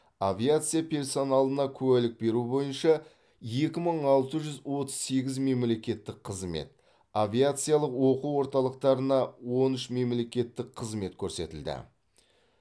авиация персоналына куәлік беру бойынша екі мың алты жүз отыз сегіз мемлекеттік қызмет авиациялық оқу орталықтарына он үш мемлекеттік қызмет көрсетілді